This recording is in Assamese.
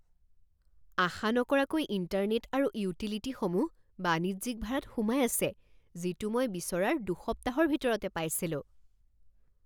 আশা নকৰাকৈ ইণ্টাৰনেট আৰু ইউটিলিটিসমূহ বাণিজ্যিক ভাৰাত সোমাই আছে যিটো মই বিচৰাৰ দুসপ্তাহৰ ভিতৰতে পাইছিলো।